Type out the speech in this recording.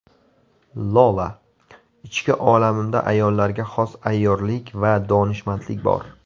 Lola: Ichki olamimda ayollarga xos ayyorlik va donishmandlik bor.